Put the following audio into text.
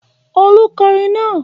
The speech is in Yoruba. Olú kọrin náà!